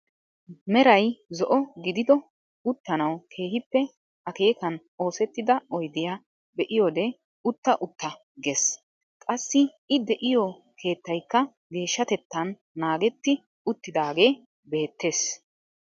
Meray Zo'o gidido uttanawu keehippe akeekan oosettida oydiyaa be'iyoode utta utta gees. qassi i de'iyoo keettaykka geeshshatettan naagetti uttidaage beettees.